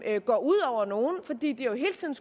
ikke går ud over nogen fordi de jo hele tiden